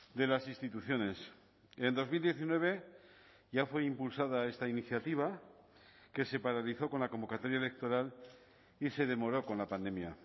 de las instituciones en dos mil diecinueve ya fue impulsada esta iniciativa que se paralizó con la convocatoria electoral y se demoró con la pandemia